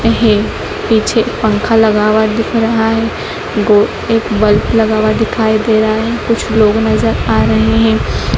है पीछे पंखा लगा हुआ दिख रहा है गो एक बल्ब लगा हुआ दिखाई दे रहा है कुछ लोग नज़र आ रहे हैं।